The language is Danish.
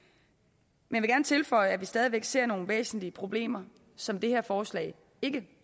men gerne tilføje at vi stadig væk ser nogle væsentlige problemer som det her forslag ikke